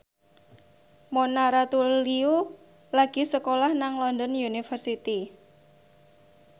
Mona Ratuliu lagi sekolah nang London University